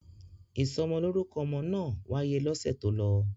Ìsọmọlórúkọ ọmọ náà wáyé lọ́sẹ̀ tó lọ.